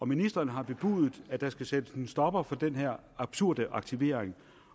ministeren har bebudet at der skal sættes en stopper for den her absurde aktivering